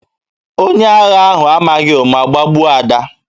Onye agha ahụ amaghị ụma gbagbuo Ada